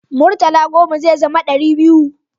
Murtala goma zai zama dari biyu